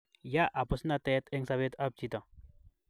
Ya abusnated eng sobetab chito